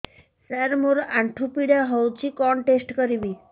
ସାର ମୋର ଆଣ୍ଠୁ ପୀଡା ହଉଚି କଣ ଟେଷ୍ଟ କରିବି